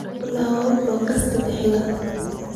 ku laabo podcast-ka xiga